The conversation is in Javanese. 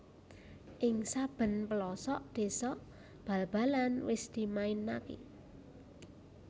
Ing saben pelosok désa bal balan wis dimainaké